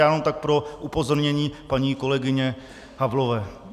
To jenom tak pro upozornění paní kolegyni Havlové.